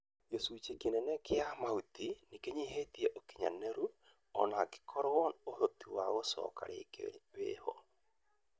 Gĩcunjĩ kĩnene kĩa mahuti nĩ kĩnyihĩtie ũkinyanĩru, o na gũkorwo ũhoti wa gũcoka rĩngĩ wĩho.